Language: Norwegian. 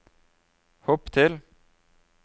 hopp til